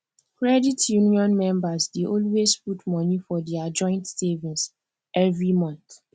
credit union members dey always put money for dia joint savings every month